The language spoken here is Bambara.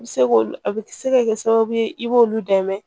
I bɛ se k'olu a bɛ se ka kɛ sababu ye i b'olu dɛmɛ